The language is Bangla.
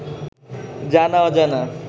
জানা-অজানা